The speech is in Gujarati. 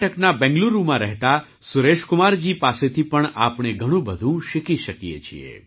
કર્ણાટકના બેંગલુરુમાં રહેતા સુરેશકુમારજી પાસેથી પણ આપણે ઘણું બધું શીખી શકીએ છીએ